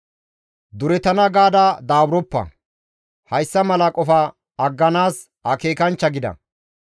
Duretana gaada daaburoppa; hayssa mala qofa agganaas akeekanchcha gida.